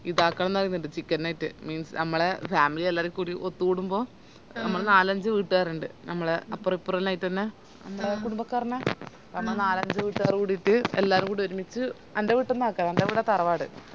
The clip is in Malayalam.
ഇതാക്കാൻ നോക്കുന്നുണ്ട് chicken night means മ്മളെ family എല്ലാരും കൂടി ഒത്തുകൂടുമ്പോ ഞമ്മള് നാലഞ്ച് വീട്ട്കാരിണ്ട് ഞമ്മളെ അപ്പറിപ്പറോല്ലോ ആയിറ്റന്നെ ഞമ്മളെ കുടുംമ്പക്കാറേന്നെ ഞമ്മള് നാലഞ്ച് വീട്ട്കാരെല്ലാം കൂടിറ്റ് എല്ലാരുംകൂടി ഒരുമിച്ച് എൻ്റെ വീട്ടീന്നാ ആക്ക എൻ്റെ വീട തറവാട്